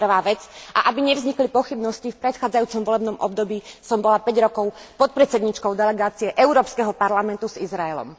To je prvá vec, a aby nevznikli pochybnosti v predchádzajúcom volebnom období som bola päť rokov podpredsedníčkou Delegácie Európskeho parlamentu s Izraelom.